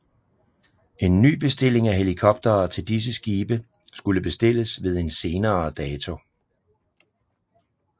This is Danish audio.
En ny bestilling af helikoptere til disse skibe skulle bestilles ved en senere dato